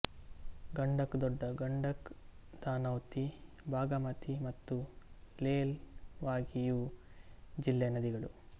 ಗಂಡಕ್ ದೊಡ್ಡ ಗಂಡಕ್ ಧನೌತೀ ಭಾಗಮತೀ ಮತ್ತು ಲೇಲ್ ವಾಗೀಇವು ಜಿಲ್ಲೆಯ ನದಿಗಳು